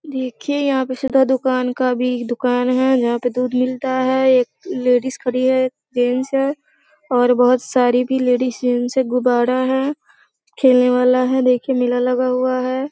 देखिये यहाँ पे सुधा दुकान का भी दुकान है ना। यहाँ पे दूध मिलता है एक लेडीज खड़ी है एक जेंट्स है और बहुत सारी भी लेडीज जेंट्स है गुब्बारा है खेलना वाला है देखिये मेला लगा हुआ है।